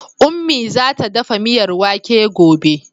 Ummi za ta dafa miyar wake gobe.